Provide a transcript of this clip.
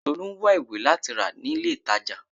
Tolu ń wá ìwé láti rà ní ilé ìtàjà.